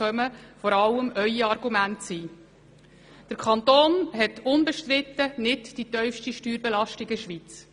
Unbestrittenermassen hat der Kanton Bern nicht die tiefste Steuerbelastung in der Schweiz.